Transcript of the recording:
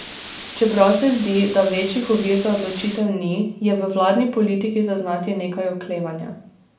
Čeprav se zdi, da večjih ovir za odločitev ni, je v vladni politiki zaznati nekaj oklevanja.